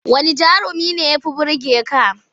Wanne jarumi ne ya fi burge ka?